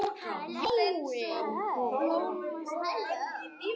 Allt einsog blómstrið eina.